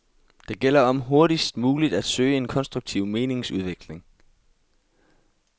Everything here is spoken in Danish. Det gælder om hurtigst muligt at søge en konstruktiv meningsudveksling.